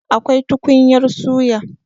Akwai tukunyar suya.